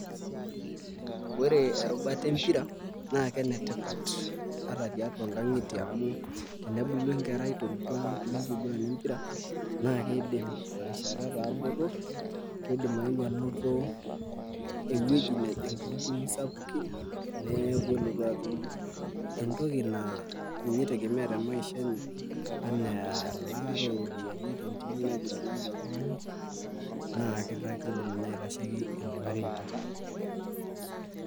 Ore erubata empira, naa kenetipat ata tiatua nkang'itie amu tenebulu enkerai torkuak lenkiguran empira, naa keidim terishata etaa botor, kidim aeu anoto ewueji nejing tontimi sapukin, neeku elotu atum entoki naa ninye i tegemea temaisha enye anaa elaata oropiyiani tentim naiguranaki oltung'ani, naa ketaa kidim ina aitasheki irmareita.